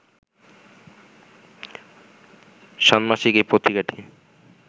ষান্মাসিক এই পত্রিকাটি